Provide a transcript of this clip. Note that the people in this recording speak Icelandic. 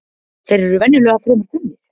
Þeir eru venjulega fremur þunnir